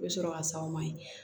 I bɛ sɔrɔ ka s'aw ma yen